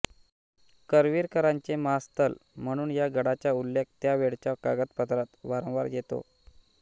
करवीरकरांचे महास्थल म्हणून या गडाचा उल्लेख त्यावेळच्या कागदपत्रात वारंवार येतो